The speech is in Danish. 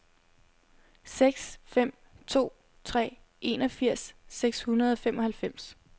seks fem to tre enogfirs seks hundrede og femoghalvfems